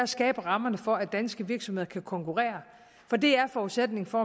skabe rammerne for at danske virksomheder kan konkurrence for det er forudsætningen for